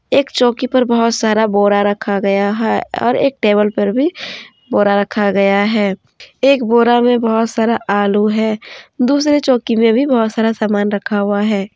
एक चौकी पर बहुत सारा बोरा रखा गया है और एक टेबल पर भी बोरा रखा गया है एक बोरा में बहुत सारा आलू है दूसरे चौकी में भी बहुत सारा सामान रखा हुआ है।